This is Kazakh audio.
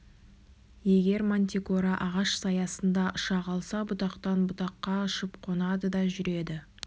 егер мантикора ағаш саясында ұша қалса бұтақтан бұтаққа ұшып қонады да жүреді